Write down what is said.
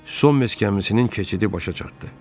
Son meskəmisi keçidi başa çatdı.